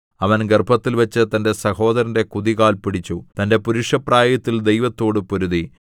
അവൻ ഗർഭത്തിൽവച്ച് തന്റെ സഹോദരന്റെ കുതികാൽ പിടിച്ചു തന്റെ പുരുഷപ്രായത്തിൽ ദൈവത്തോടു പൊരുതി